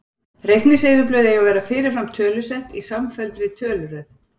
Reikningseyðublöð eiga að vera fyrirfram tölusett í samfelldri töluröð.